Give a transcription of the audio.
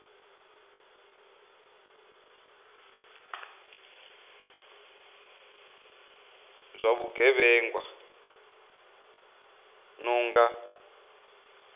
zwa vhugevhenga zwi no nga